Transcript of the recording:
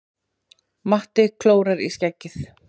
Matti klórar í skeggið.